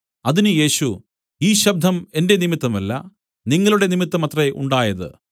അതിന് യേശു ഈ ശബ്ദം എന്റെ നിമിത്തമല്ല നിങ്ങളുടെ നിമിത്തം അത്രേ ഉണ്ടായത്